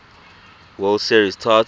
world series title